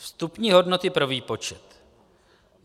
Vstupní hodnoty pro výpočet.